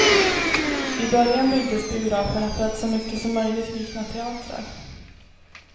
I början byggdes biograferna för att så mycket som möjligt likna teatrar.